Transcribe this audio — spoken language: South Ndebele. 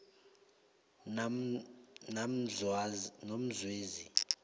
namzwezi